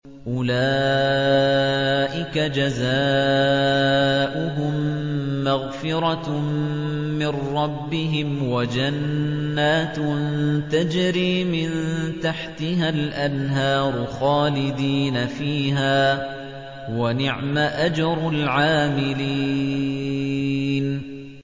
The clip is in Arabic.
أُولَٰئِكَ جَزَاؤُهُم مَّغْفِرَةٌ مِّن رَّبِّهِمْ وَجَنَّاتٌ تَجْرِي مِن تَحْتِهَا الْأَنْهَارُ خَالِدِينَ فِيهَا ۚ وَنِعْمَ أَجْرُ الْعَامِلِينَ